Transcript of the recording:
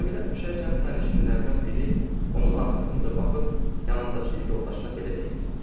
Camidən düşərkən sərnişinlərdən biri onun arxasınca baxıb yanındakı yoldaşına belə deyirdi.